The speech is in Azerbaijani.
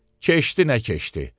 Keçdi nə keçdi.